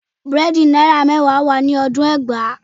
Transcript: Búrẹ́dì náírà mẹ́wàá wà ní ọdún ẹgbàá